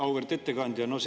Auväärt ettekandja!